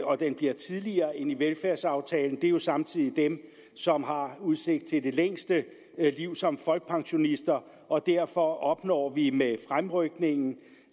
og den bliver tidligere end i velfærdsaftalen er jo samtidig dem som har udsigt til det længste liv som folkepensionister og derfor opnår vi med fremrykningen